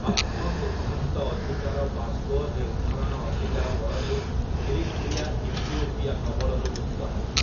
ଆତ୍ମ ସିଦ୍ଧାନ୍ତ ଅଧିକାର ବା ସ୍ଵ-ନିର୍ଦ୍ଧାରଣ ଅଧିକାର ବଳରେ ଇରିଟ୍ରିଆ ଇଥିଓପିଆ କବଳରୁ ମୁକ୍ତ ହେଲା ।